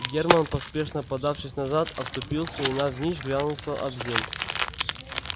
германн поспешно подавшись назад оступился и навзничь грянулся об земь